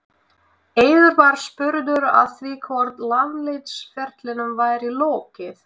Eiður var spurður að því hvort landsliðsferlinum væri lokið?